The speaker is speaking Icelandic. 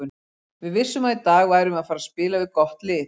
Við vissum að í dag værum við að fara spila við gott lið.